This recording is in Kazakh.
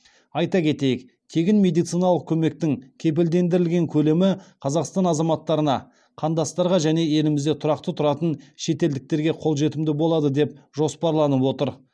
айта кетейік тегін медициналық көмектің кепілдендірілген көлемі қазақстан азаматтарына қандастарға және елімізде тұрақты тұратын шетелдіктерге қолжетімді болады деп жоспарланып отыр